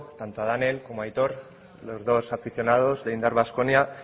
tanto a danel como a aitor los dos aficionados de indar baskonia